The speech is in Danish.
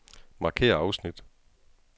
Markér afsnit.